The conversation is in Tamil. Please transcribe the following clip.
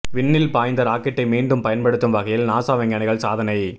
விண்ணில் பாய்ந்த ராக்கெட்டை மீண்டும் பயன்படுத்தும் வகையில் நாசா விஞ்ஞானிகள் சாதனை